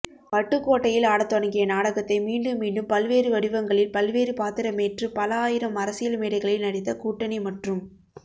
வட்டுக்கோட்டையில் ஆடத்தொடங்கிய நாடகத்தை மீண்டும் மீண்டும் பல்வேறு வடிவங்களில் பல்வேறு பாத்திரமேற்று பல ஆயிரம் அரசியல்மேடைகளில் நடித்த கூட்டணி மற்றும்